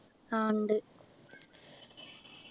ആഹ് ഇണ്ട്